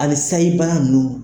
Hali sayi bana nunnu.